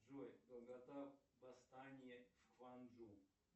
джой долгота восстания в кванджу